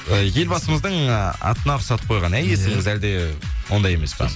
ы елбасымыздың ы атына ұқсатып қойған иә есіміңіз әлде ондай емес па